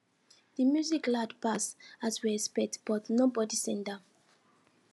di music loud pass as we expect but nobody send am